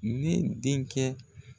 Ne denkɛ